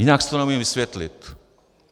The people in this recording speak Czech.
Jinak si to neumím vysvětlit.